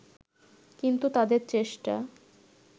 কিন্তু তাদের চেষ্টা